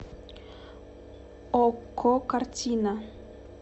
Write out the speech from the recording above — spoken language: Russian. окко картина